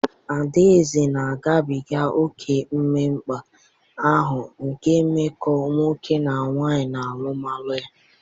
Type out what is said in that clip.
Adaeze na-agabiga oke mmekpa ahụ nke mmekọ nwoke na nwanyị n'alụmalụ ya.